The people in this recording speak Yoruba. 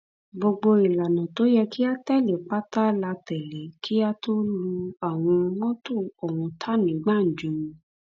gbogbo ìlànà tó yẹ kí a tẹlé pátá la tẹlé kí a tóó lu àwọn mọtò ọhún ta ní gbàǹjo